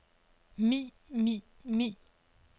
ni ni ni